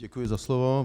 Děkuji za slovo.